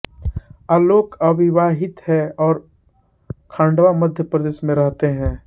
आलोक अविवाहित है और खंडवा मध्य प्रदेश में रहते हैं